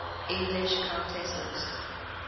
english countesses